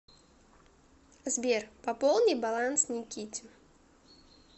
сбер пополни баланс никите